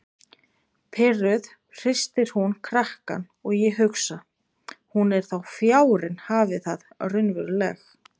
Pirruð hristir hún krakkann og ég hugsa: Hún er þó fjárinn hafi það raunveruleg.